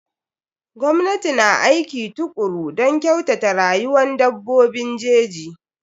Gwamnati na aiki tukuru don kyautata rayuwan dabbobin jeji.